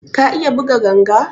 Ka iya buga ganga?